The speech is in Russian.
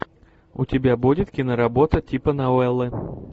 у тебя будет киноработа типа новеллы